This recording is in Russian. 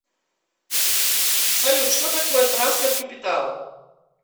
салют что такое трансфер капитала